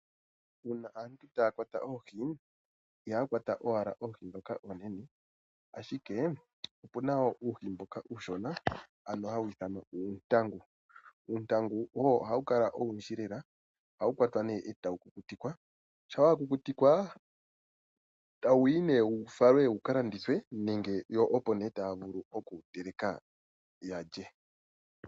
Uuna aantu taya kwata oohi, ihaya kwata ashike oohi dhoka oonene, ashike opuna uuhi mboka uushona hawu ithanwa ta kuti uuntangu. Uuntangu ohawu kala owundji, etawu kukutikwa, shampa wa kukutikwa ohawu falwa ne wuka landithwe nenge opo ne taya vulu oku wu teleka yalye.